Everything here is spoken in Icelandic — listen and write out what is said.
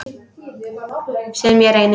Sem ég reyni.